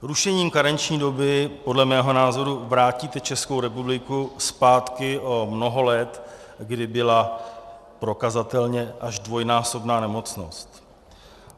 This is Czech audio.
Rušením karenční doby podle mého názoru vrátíte Českou republiku zpátky o mnoho let, kdy byla prokazatelně až dvojnásobná nemocnost.